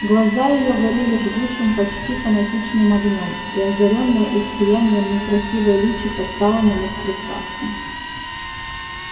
глаза её горели жгучим почти фанатичным огнём и озарённое их сиянием некрасивое личико стало на миг прекрасным